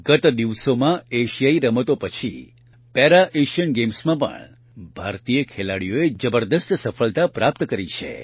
ગત દિવસોમાં એશિયાઇ રમતો પછી પેરા એશિયન ગેમ્સમાં પણ ભારતીય ખેલાડીઓએ જબરદસ્ત સફળતા પ્રાપ્ત કરી છે